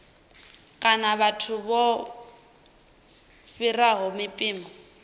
kana vhathu vho fhiraho mpimo